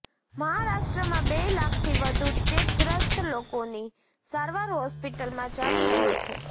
મહારાષ્ટ્રમાં બે લાખથી વધુ ચેપગ્રસ્ત લોકોની સારવાર હોસ્પિટલમાં ચાલી રહી છે